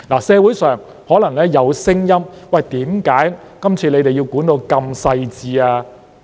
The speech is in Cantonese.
社會上可能有聲音，為何這次需要規管得如此細緻？